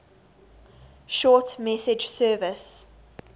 short message service